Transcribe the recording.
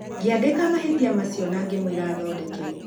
Ngĩandĩka mahĩtia macio na ngĩmwĩra athondeke